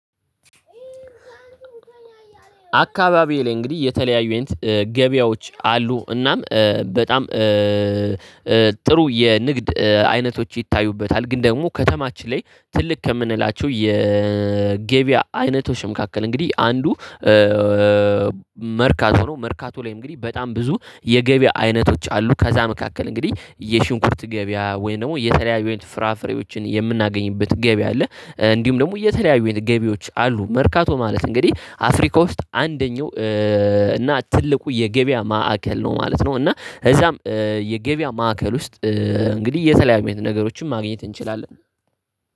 አካባቢየ ላይ እግዲህ የተለያዩ አይነት ገቢያዎች አሉ እናም በጣም ጥሩ የንግድ አይነቶች ይታዩበታል። ግን ደግሞ ከተማች ላይ ትልቅ ከምነላቸው የገቢያ አይነቶች መካከል እንግዲ አንዱ መርካቶ ነው። መርካቶ ላይ እንግዲ በጣም ብዙ የገቢያ አይነቶች አሉ። ከዛ መካከል እንግዲ የሽንኩርት ገቢያ ወይም ነው የተለያዩ አይነት ፍራፍሬዎችን የምናገኝበት ገቢያ አለ። እንዲሁም ደግሞ የተለያዩ አይነት ገቢያዎች አሉ መርካቶ ማለት እንግዲህ አፍሪካ ውስጥ አንደኛው እና ትልቁ የገቢያ ማዕከል ነው ማለት ነው። እና እዛም የገቢያ ማዕከል ውስጥ እንግዲህ የተለያዩ አይነት ነገሮችን ማግኘት እንችላለን።